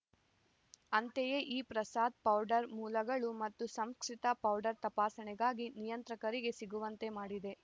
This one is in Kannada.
ಅಂತೆಯೇ ಈ ಪ್ರಸಾದ ಪೌಡರ್ ಮೂಲಗಳು ಮತ್ತು ಸಂಸ್ಕರಿತ ಪೌಡರ್ ತಪಾಸಣೆಗಾಗಿ ನಿಯಂತ್ರಕರಿಗೆ ಸಿಗುವಂತೆ ಮಾಡಿದೆ